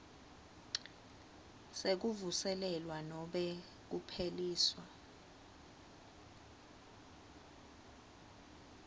sekuvuselelwa nobe kupheliswa